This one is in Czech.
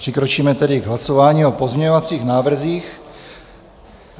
Přikročíme tedy k hlasování o pozměňovacích návrzích.